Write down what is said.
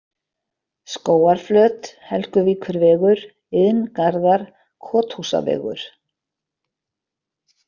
Skógarflöt, Helguvíkurvegur, Iðngarðar, Kothúsavegur